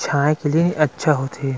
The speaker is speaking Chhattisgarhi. छाए के लिए अच्छा होत हे।